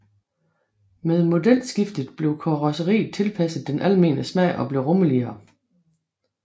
Med modelskiftet blev karrosseriet tilpasset den almene smag og blev rummeligere